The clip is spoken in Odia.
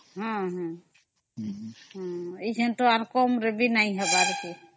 ହଁ ଏଡା ଆଉ କମ ରେ ବି ନାଇଁ ହବାର